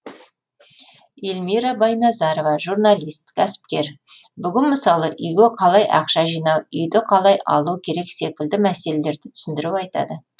эльмира байназарова журналист кәсіпкер бүгін мысалы үйге қалай ақша жинау үйді қалай алу керек секілді мәселелерді түсіндіріп айтады